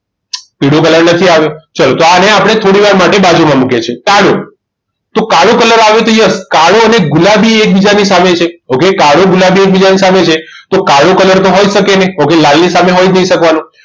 પીળો colour નથી આવ્યો તો ચાલો આને આપણે થોડી વાર માટે બાજુમાં મૂકીએ છીએ કાળો તો કાળો colour આવે તો yes કાળો અને ગુલાબી એ એકબીજાની સામે છે okay કાળો ગુલાબી એ એકબીજાની સામે છે તો કાળો colour તો હોઈ શકે નહીં okay લાલની સામે મળી જ નથી શકવાનો